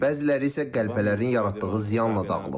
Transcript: Bəziləri isə qəlpələrin yaratdığı ziyanla dağılıb.